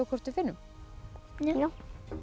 hvort við finnum já